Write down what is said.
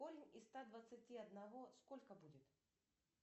корень из ста двадцати одного сколько будет